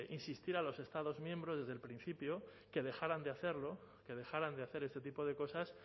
insistir a los estados miembros desde el principio que dejaran de hacerlo que dejaran de hacer este tipo de cosas